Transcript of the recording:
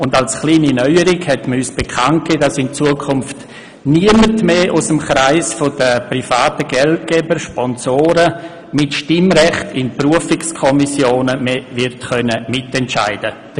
Und man gab uns bekannt, dass als kleine Neuerung in Zukunft niemand aus dem Kreis der privaten Geldgeber und Sponsoren mehr mit Stimmrecht in Berufungskommissionen wird mitentscheiden können.